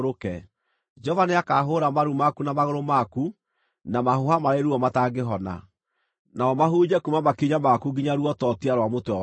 Jehova nĩakahũũra maru maku na magũrũ maku na mahũha marĩ ruo matangĩhona, namo mahunje kuuma makinya maku nginya ruototia rwa mũtwe waku.